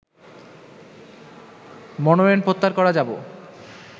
মনোনয়ন প্রত্যাহার করা যাব